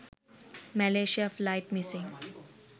malaysia flight missing